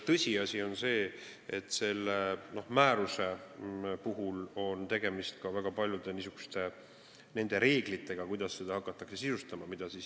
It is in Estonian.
Tõsiasi on see, et selle määruse puhul on tegemist ka väga paljude reeglitega, kuidas seda hakatakse sisustama.